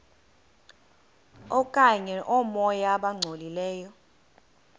okanye oomoya abangcolileyo